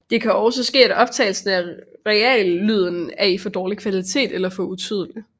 Det kan også ske at optagelser af reallyden er i for dårlig kvalitet eller for utydeligt